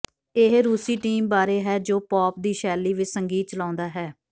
ਇਹ ਰੂਸੀ ਟੀਮ ਬਾਰੇ ਹੈ ਜੋ ਪੌਪ ਦੀ ਸ਼ੈਲੀ ਵਿਚ ਸੰਗੀਤ ਚਲਾਉਂਦਾ ਹੈ